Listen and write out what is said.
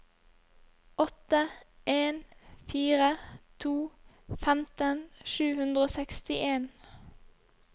åtte en fire to femten sju hundre og sekstien